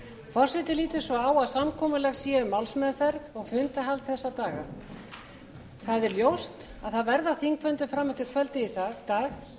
forseti lítur svo á að samkomulag sé um málsmeðferð og fundahald þessa daga það er ljóst að það verða þingfundir fram eftir kvöldi í dag